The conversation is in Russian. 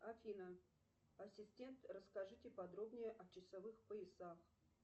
афина ассистент расскажите подробнее о часовых поясах